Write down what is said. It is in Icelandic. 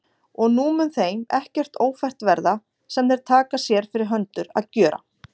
Og nú mun þeim ekkert ófært verða, sem þeir taka sér fyrir hendur að gjöra.